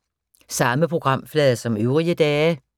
Samme programflade som øvrige dage